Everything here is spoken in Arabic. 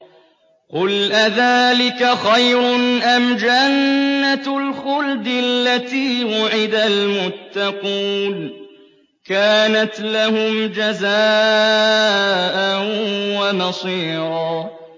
قُلْ أَذَٰلِكَ خَيْرٌ أَمْ جَنَّةُ الْخُلْدِ الَّتِي وُعِدَ الْمُتَّقُونَ ۚ كَانَتْ لَهُمْ جَزَاءً وَمَصِيرًا